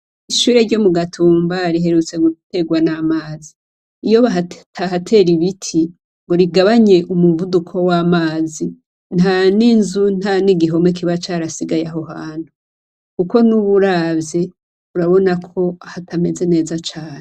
Ishure ryo mugatumba riherutse guterwa namazi. Iyo batahatera ibiti ngo bigabanye umuvuduko wamazi ntaninzu ntanigihome kiba carasigaye aho hantu. Kuko nubu uravye urabona ko hatameze neza cane.